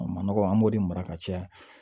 A ma nɔgɔ an b'o de mara ka caya